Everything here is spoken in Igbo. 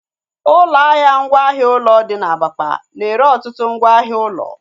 Ụlọ ahịa ngwa ahịa ụlọ dị na Abakpa na-ere ọtụtụ ngwa ahịa ụlọ